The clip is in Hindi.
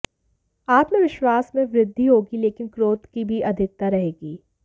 आत्मवश्विास में वृद्धि होगी लेकिन क्रोध की भी अधिकता रहेगी